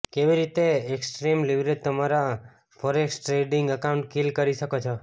કેવી રીતે extreme leverage તમારા ફોરેક્સ ટ્રેડિંગ એકાઉન્ટ કીલ કરી શકો છો